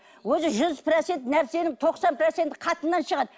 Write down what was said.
осы жүз процент нәрсенің тоқсан проценті қатыннан шығады